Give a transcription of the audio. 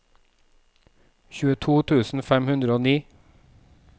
tjueto tusen fem hundre og ni